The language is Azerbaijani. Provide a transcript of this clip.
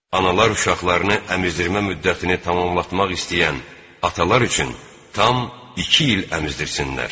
Analar uşaqlarını əmizdirmə müddətini tamamlamaq istəyən atalar üçün tam iki il əmizdirsinlər.